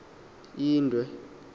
indwe